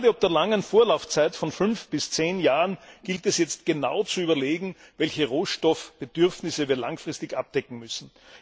Gerade ob der langen Vorlaufzeit von fünf bis zehn Jahren gilt es jetzt genau zu überlegen, welchen Rohstoffbedarf wir langfristig abdecken müssen.